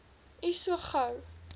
u so gou